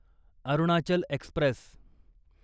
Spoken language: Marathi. अरुणाचल एक्स्प्रेस